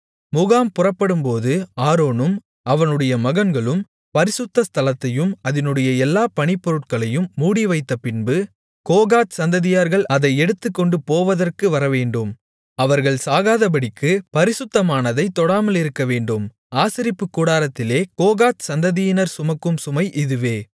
முகாம் புறப்படும்போது ஆரோனும் அவனுடைய மகன்களும் பரிசுத்த ஸ்தலத்தையும் அதினுடைய எல்லா பணிப்பொருட்களையும் மூடிவைத்தபின்பு கோகாத் சந்ததியார்கள் அதை எடுத்துக்கொண்டுபோவதற்கு வரவேண்டும் அவர்கள் சாகாதபடிக்கு பரிசுத்தமானதைத் தொடாமலிருக்கவேண்டும் ஆசரிப்புக் கூடாரத்திலே கோகாத் சந்ததியினர் சுமக்கும் சுமை இதுவே